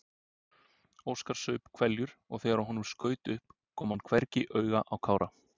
Óskar saup hveljur og þegar honum skaut upp kom hann hvergi auga á Kára.